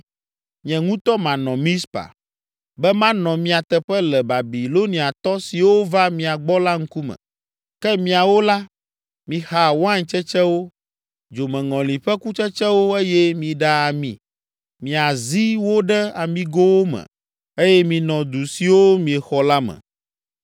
Nye ŋutɔ manɔ Mizpa, be manɔ mia teƒe le Babiloniatɔ siwo va mia gbɔ la ŋkume. Ke miawo la, mixa wain tsetsewo, dzomeŋɔli ƒe kutsetsewo eye miɖa ami, miazi wo ɖe amigowo me eye minɔ du siwo míexɔ la me.”